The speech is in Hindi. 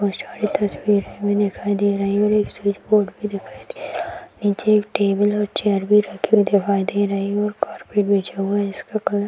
बहोत सारी तस्वीर हमें दिखाई दे रही और एक स्विच बोर्ड भी दिखाई दे रहा है नीचे एक टेबल और चेयर भी रखे हुए दिखाई दे रही और कारपेट बिछा हुआ है जिसका कलर --